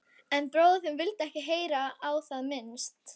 En bróðir þinn vildi ekki heyra á það minnst.